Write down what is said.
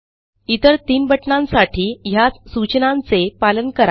इतर तीन बटणांसाठी ह्याच सूचनांचे पालन करा